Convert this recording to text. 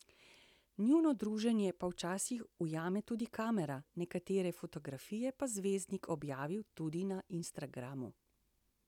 Njuno druženje pa včasih ujame tudi kamera, nekatere fotografije pa zvezdnik objavi tudi na Instagramu.